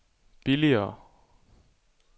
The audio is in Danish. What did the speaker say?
billigere